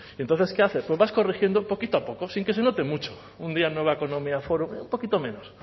entonces qué haces pues vas corrigiendo poquito a poco sin que se note mucho un día nueva economía un poquito menos